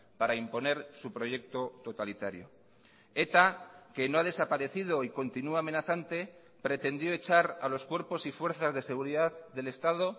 para imponer su proyecto totalitario eta que no ha desaparecido y continúa amenazante pretendió echar a los cuerpos y fuerzas de seguridad del estado